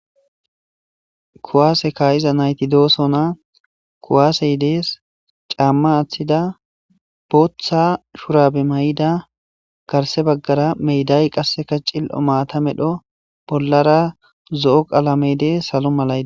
kuwaase kaa'iza nayti doosona kuwaasey dees caamma aaththida booththa shurabe mayida garse baggara meday qasseka cil'o maata medho bollara zo'o qalamey dees salo malayi